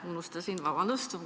Unustasin – vabandust!